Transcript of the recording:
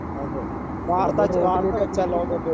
അതെ നമ്മൾ റോഡിലൂടെ എവിടെ